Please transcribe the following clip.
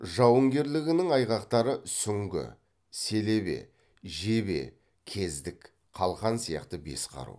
жауынгерлігінің айғақтары сүңгі селебе жебе кездік қалқан сияқты бес қару